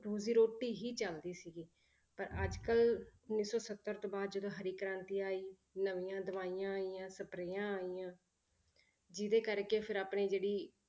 ਰੋਜ਼ੀ ਰੋਟੀ ਹੀ ਚੱਲਦੀ ਸੀਗੀ ਪਰ ਅੱਜ ਕੱਲ੍ਹ ਉੱਨੀ ਸੌ ਸੱਤਰ ਤੋਂ ਬਾਅਦ ਜਦੋਂ ਹਰੀ ਕ੍ਰਾਂਤੀ ਆਈ, ਨਵੀਂਆਂ ਦਵਾਈਆਂ ਆਈਆਂ ਸਪਰੇਆਂ ਆਈਆਂ ਜਿਹਦੇ ਕਰਕੇ ਫਿਰ ਆਪਣੇ ਜਿਹੜੀ